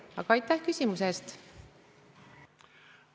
Aga aitäh küsimuse eest!